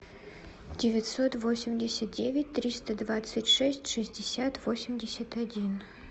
девятьсот восемьдесят девять триста двадцать шесть шестьдесят восемьдесят один